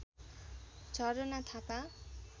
Jharna Thapa